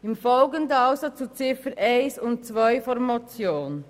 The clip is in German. Im Folgenden geht es also um Ziffer 1 und 2 der Motion.